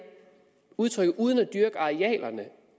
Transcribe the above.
udtrykket uden at dyrke arealerne